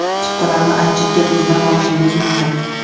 Chiptalarni Iticket.uz ’dan olishingiz mumkin.